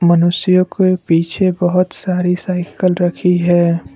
मनुष्य के पीछे बहोत सारी साइकल रखी है।